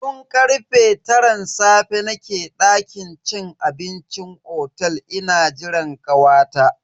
Tun karfe taran safe nake dakin cin abincin otel ina jiran kawata.